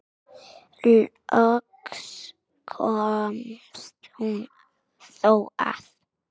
Loks komst hún þó að.